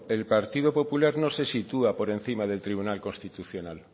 el partido popular no se sitúa por encima del tribunal constitucional